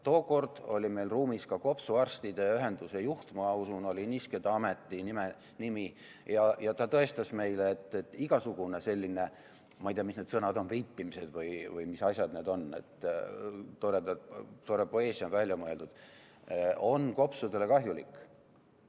Tookord oli meil ruumis ka kopsuarstide ühenduse juht – ma usun, et oli nihuke ta ametinimetus – ja ta tõestas meile, et igasugune selline – ma ei tea, mis need sõnad on – veipimine või mis asjad need on, tore poeesia on välja mõeldud, on kopsudele kahjulik.